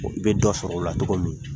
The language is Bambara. I bɛ dɔ sɔrɔ o la tɔgɔ min